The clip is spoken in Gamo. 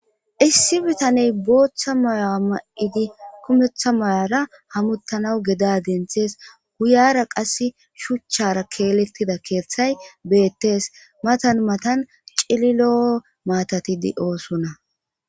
Issi addey bootha maya mayidi kumetha mayara hametanaw geda denthidi beetees. Guyara qasse shuchchara keeletida keethay beetees. Matan matan cililo keethati beetosona.